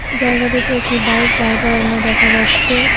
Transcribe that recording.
জায়গাটিতে একটি বাইক দাঁড় করানো দেখা যাচ্ছে।